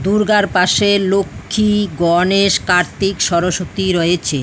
দুর্গার পাশে লক্ষ্মী গণেশ কার্তিক সরস্বতী রয়েছে।